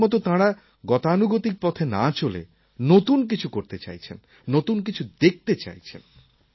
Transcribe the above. আগের মত তাঁরা গতানুগতিক পথে না চলে নতুন কিছু করতে চাইছেন নতুন কিছু দেখতে চাইছেন